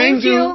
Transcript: thank you